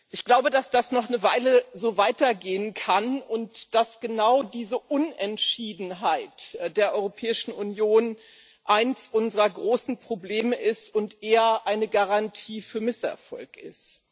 Ich glaube, dass das noch eine Weile so weitergehen kann und dass genau diese Unentschiedenheit der Europäischen Union eines unserer großen Probleme und eher eine Garantie für Misserfolg ist.